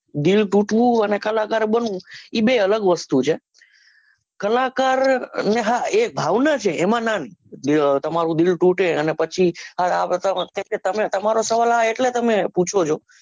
દિલ તૂટવું અને કલાકાર બનવું એ બે અલગ વસ્તુ છે કલાકાર એ ને હા ભાવના છે એમાં ના તમારું દિલ તુટે અને પછી અન બધા તમે તમારો સવાલ આ એટલે તમે પુછો છો